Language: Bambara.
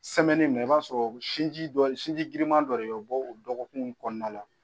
in na i b'a sɔrɔ sin sinji girinman dɔ o bɛ bɔ o dɔgɔkun in kɔnɔna la